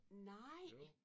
Nej!